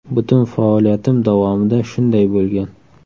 Butun faoliyatim davomida shunday bo‘lgan.